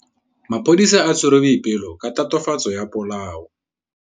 Maphodisa a tshwere Boipelo ka tatofatsô ya polaô.